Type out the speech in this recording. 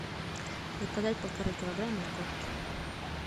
заказать полтора килограмма морковки